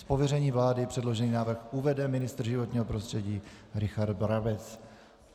Z pověření vlády předložený návrh uvede ministr životního prostředí Richard Brabec.